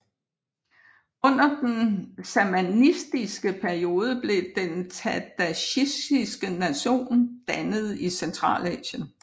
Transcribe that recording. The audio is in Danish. Under den samanidiske periode blev den tadsjikiske nation dannet i Centralasien